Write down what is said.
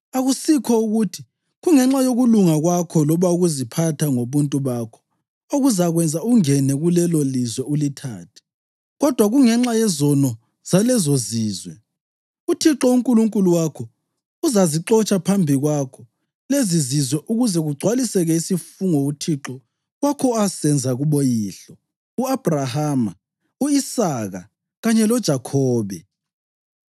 Akusikho ukuthi kungenxa yokulunga kwakho loba ukuziphatha ngobuntu bakho okuzakwenza ungene kulelolizwe ulithathe; kodwa kungenxa yezono zalezozizwe, uThixo uNkulunkulu wakho uzazixotsha phambi kwakho lezizizwe ukuze kugcwaliseke isifungo uThixo wakho asenza kuboyihlo, u-Abhrahama, u-Isaka kanye loJakhobe.